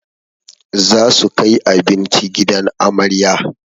Za su kai abinci gidan amarya